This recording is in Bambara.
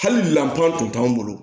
Hali lantan tun t'anw bolo